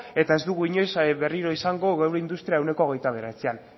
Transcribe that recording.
eta ez dugu inoiz berriro izango geure industria ehuneko hogeita bederatzian